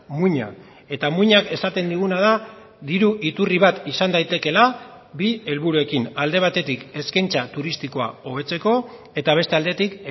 muina eta muinak esaten diguna da diru iturri bat izan daitekeela bi helburuekin alde batetik eskaintza turistikoa hobetzeko eta beste aldetik